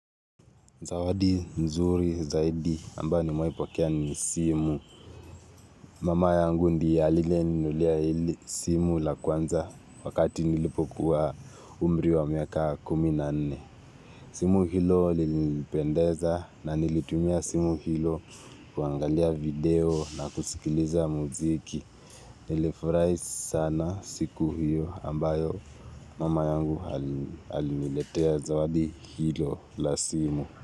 Zawadi nzuri zaidi ambayo nimewahi pokea ni simu. Mama yangu ndiye aliyeninunulia hili simu la kwanza wakati nilipokuwa umri wa miaka kumi na nne. Simu hilo lilinipendeza na nilitumia simu hilo kuangalia video na kusikiliza muziki. Nilifurahi sana siku hiyo ambayo mama yangu aliniletea zawadi hilo la simu.